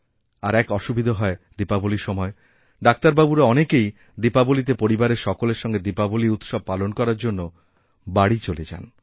আর এক অসুবিধা হয় দীপাবলীর সময় ডাক্তারবাবুরা অনেকেই দীপাবলীতে পরিবারের সকলের সঙ্গে দীপাবলী উৎসব পালন করার জন্যবাড়ি চলে যান